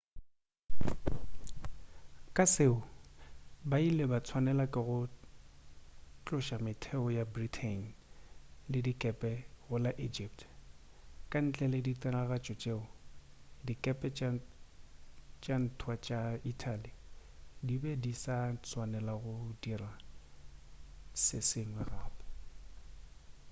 ka seo ba ile ba tswanela ke go tloša metheo ya britain le dikepe go la egypt ka ntle le ditiragatšo tšeo dikepe tša ntwa tša italy di be di sa swanela go dira se sengwe gape